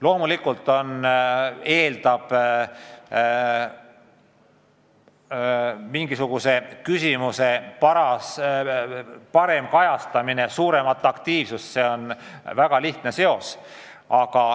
Loomulikult eeldab mingisuguse küsimuse parem kajastamine suuremat aktiivsust – see on väga selge seos.